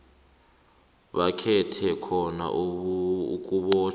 bakhethe khona ukubotjhwa